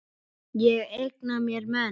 Ég eigna mér menn.